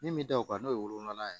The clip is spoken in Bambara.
Min bɛ da o kan n'o ye wolonfila ye